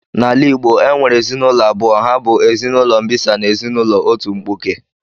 Na ala Igbo e nwere ezinụlọ ụzọ abụọ ha bu ezinụlọ mbisa na ezinụlọ otu mkpụke